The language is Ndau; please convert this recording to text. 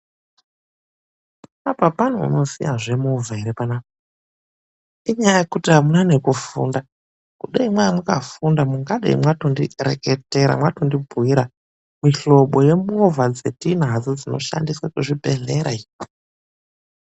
APA PANEUNOZIWA ZVEMOVA ERE ?PANAPA INYAYA YEKUTI AMUNA NEKUFUNDA , KUDAI MANGA MAKAFUNDA MATONDIREKETERA MWATONDIBHUYIRA MIHLOBO YEMOVA TINADZO DZINOSHANDISWA KUZVIBEHLERA IYO